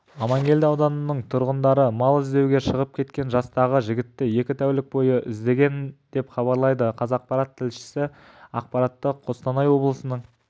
аманкелді ауданының тұрғындары мал іздеуге шығып кеткен жастағы жігітті екі тәулік бойы іздеген деп хабарлайды қазақпарат тілшісі ақпаратты қостанай облыстық баспасөз